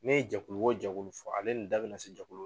Ne ye jɛkulu wo jɛkulu fɔ, ale nin n da be na se jɛkulu